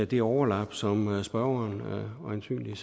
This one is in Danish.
det overlap som spørgeren øjensynligt